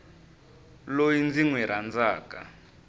loyi ndzi n wi rhandzaka